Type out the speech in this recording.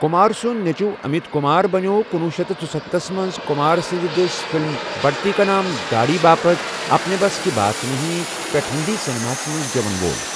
کمار سُن نیچوُو امیت کمار بنیو٘ کنۄہ شیتھ ژُستتھَ تھس منز كُمار سٕندِ دسہِ فِلم بڈتی كا نام داڈھی باپتھ ' اپنے بس كی بات نہیں ' پیٹھ ہیندی سینماہس منز گیون وول ۔